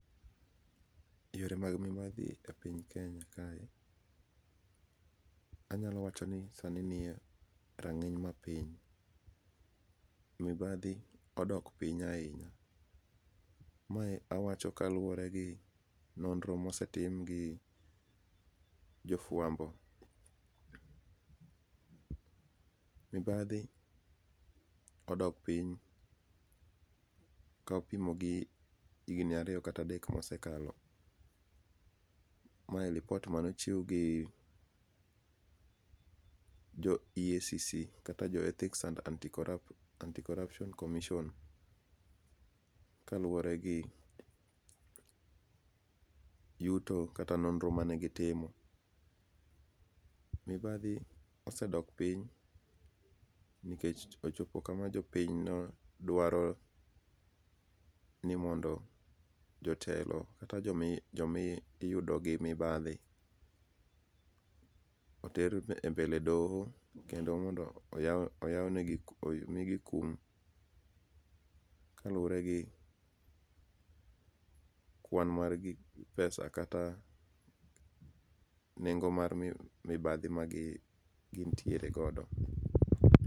Yore mag mibadhi ka piny Kenya kae: anyalo wacho ni sani niye rang'iny mapiny. Mibadhi odok piny ahinya, mae awacho kaluwore gi nonro mosetim gi jofwambo. Mibadhi odok piny ka opimo gi higni ariyo kata adek mosekalo. Mae lipot manochiw gi jo EACC kata jo Ethics and Anti Corruption Commission, ka luwore gi yuto kata nonro mane gitimo. Mibadhi osedok piny nikech ochopo kama jopiny no dwaro ni mondo jotelo kata jo mi jomiyudo gi mibadhi, oter e mbele doho kendo mondo omigi kum. Kaluwore gi kwan mar gi pesa kata nengo mar mibadhi ma gi gintiere godo.